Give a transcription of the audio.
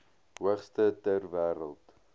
hoogste ter wêreld